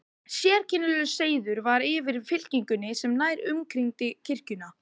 Sérkennilegur seiður var yfir fylkingunni sem nær umkringdi kirkjuna.